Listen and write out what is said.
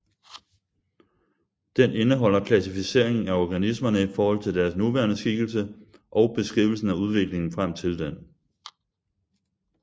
Den indeholder klassificeringen af organismerne i forhold til deres nuværende skikkelse og beskrivelsen af udviklingen frem til den